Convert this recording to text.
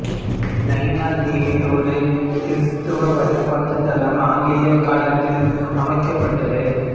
நயினாதீவில் ஒரு கிறீஸ்தவ வழிபாட்டுத் தலம் ஆங்கிலேயர் காலத்தில் அமைக்கப்பட்டது